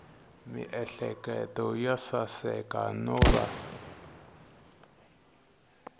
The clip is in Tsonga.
miehleketo yo saseka no va